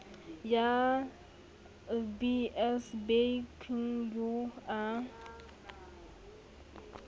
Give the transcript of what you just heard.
ya lbs bekng eo a